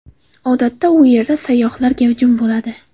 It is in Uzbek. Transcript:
Odatda u yerda sayyohlar gavjum bo‘ladi.